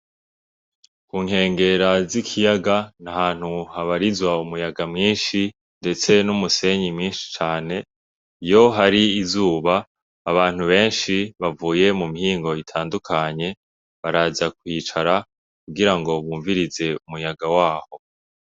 Ku nkengera z'ikiyaga ni ahantu habarizwa umuyaga mwinshi ndetse n'umusenyi mwinshi cane. Iyo hari izuba, abantu benshi bavuye mu mihingo itandukanye baraza kwicara kugira ngo bumvirize umuyaga waho.